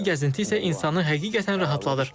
Buradakı gəzinti isə insanı həqiqətən rahatladır.